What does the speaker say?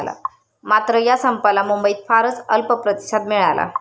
मात्र या संपाला मुंबईत फारच अल्प प्रतिसाद मिळाला.